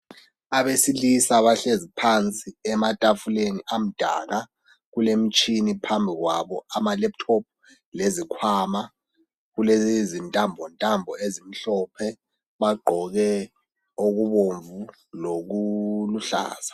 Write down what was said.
Abesilisa bahlezi phansi ematafuleni amdaka kulemitshina phambi kwabo kulama laptop lezikhwama kulezintambontambo ezimhlophe, bagqoke okubomvu lokuluhlaza.